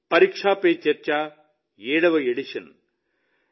ఇది పరీక్ష పే చర్చా 7వ ఎడిషన్